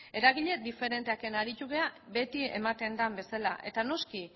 eragile diferenteekin aritu gara beti ematen den bezala eta noski